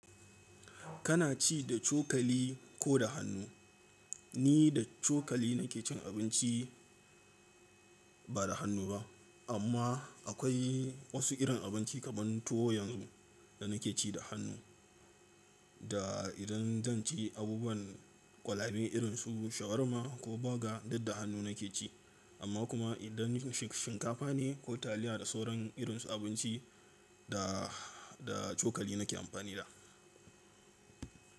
Kana ci da cokali ko da hannu? Ni da cokali na ke cin abinci ba da hannu ba. Amma akwai wasu irin abinci kamar tuwo yanzu da na ke ci da hannu. Da idan zan ci abubuwan kwalabe irin su shawarma ko burger, duk da hannu na ke ci. Amma kuma idan shinkafa ne ko taliya da sauran irin su abinci, da, da cokali na ke amfani da.